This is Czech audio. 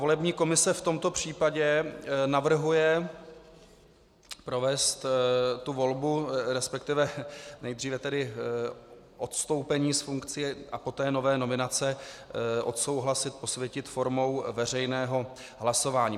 Volební komise v tomto případě navrhuje provést tu volbu, respektive nejdříve tedy odstoupení z funkcí a poté nové nominace odsouhlasit, posvětit formou veřejného hlasování.